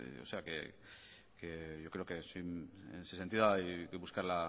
o sea que yo creo que en ese sentido hay que buscarla